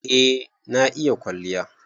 Eh, na iƴa ƙwalliya.